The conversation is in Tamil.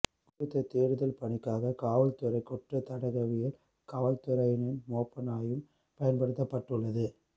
குறித்த தேடுதல் பணிக்காக காவல்துறை குற்றத் தடகவியல் காவல்துறையினரின் மோப்ப நாயும் பயன்படுத்தப்பட்டுள்ளது